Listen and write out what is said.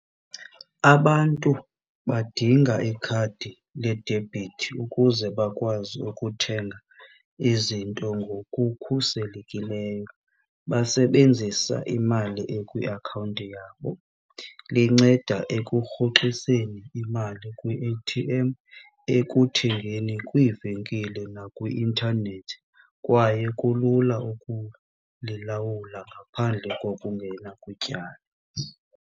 Abantu badinga ikhadi ledebhithi ukuze bakwazi ukuthenga izinto ngokukhuselekileyo basebenzisa imali ekwiakhawunti yabo. Linceda ekurhoxiseni imali kwi-A_T_M, ekuthengeni kwiivenkile nakwi-intanethi kwaye kulula ukulilawula ngaphandle kokungena kwityala.